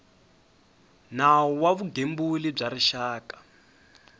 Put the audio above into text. nawu wa vugembuli bya rixaka